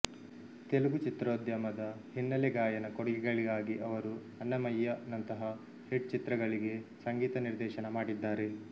ತೆಲುಗು ಚಿತ್ರೋದ್ಯಮದ ಹಿನ್ನೆಲೆ ಗಾಯನ ಕೊಡುಗೆಗಳಿಗಾಗಿ ಅವರು ಅನ್ನಮಯ್ಯ ನಂತಹ ಹಿಟ್ ಚಿತ್ರಗಳಿಗೆ ಸಂಗೀತ ನಿರ್ದೇಶನ ಮಾಡಿದ್ದಾರೆ